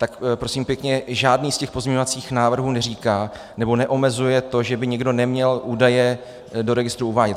Tak prosím pěkně žádný, z těch pozměňovacích návrhů neříká nebo neomezuje to, že by někdo neměl údaje do registru uvádět.